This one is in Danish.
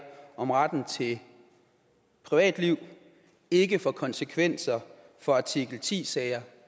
om retten til privatliv ikke får konsekvenser for artikel ti sager